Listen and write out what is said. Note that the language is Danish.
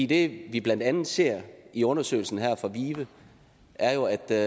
det vi blandt andet ser i undersøgelsen her fra vive er jo at der